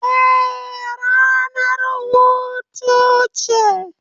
Eh, ranar hutu ce.